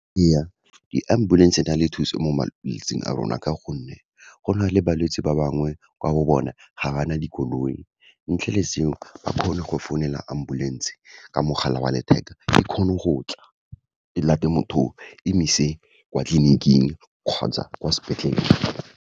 Ee, di-ambulance-e di na le thuso mo malwetsing a rona, ka gonne go na le balwetse ba bangwe, kwa bo bona ga bana dikoloi, ntle le seo, ba kgone go founela ambulance-e ka mogala wa letheka, e kgone go tla, e late motho o, emise kwa tleliniking kgotsa kwa sepetlele.